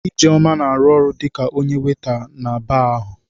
Ijeoma na-arụ ọrụ dị ka onye waịta na baa ahụ.